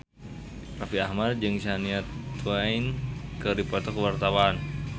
Raffi Ahmad jeung Shania Twain keur dipoto ku wartawan